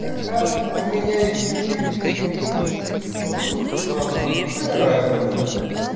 ха-ха у меня есть теперь пингвин в игрушке правда ну какая разница